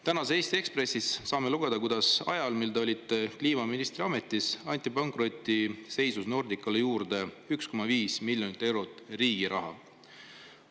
Tänasest Eesti Ekspressist saame lugeda, kuidas ajal, mil te olite kliimaministri ametis, anti pankrotiseisus Nordicale juurde 1,5 miljonit eurot riigi raha.